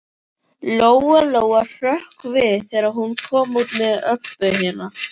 Lóa Lóa hrökk við þegar hún kom út með Öbbu hina.